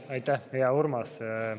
Aitäh, hea Urmas!